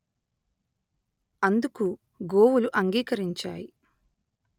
అందుకు గోవులు అంగీకరించాయి